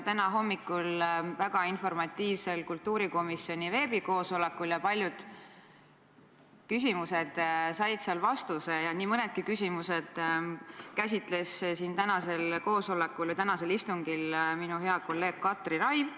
Täna hommikul väga informatiivsel kultuurikomisjoni veebikoosolekul said paljud küsimused vastuse ja nii mõndagi küsimust käsitles tänasel istungil minu hea kolleeg Katri Raik.